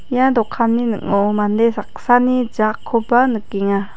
ia dokanni ning·o mande saksani jakkoba nikenga.